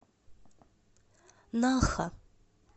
наха